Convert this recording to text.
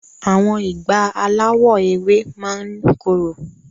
Awọn ìgbá alawọ ewé máa ni korò.